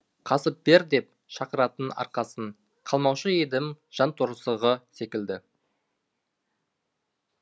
қасып бер деп шақыратын арқасын қалмаушы едім жанторсығы секілді